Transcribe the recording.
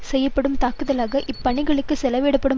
செய்யப்படும் தாக்குதலாக இப் பணிகளுக்குச் செலவிடப்படும்